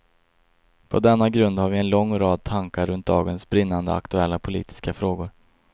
På denna grund har vi en lång rad tankar runt dagens brinnande aktuella politiska frågor.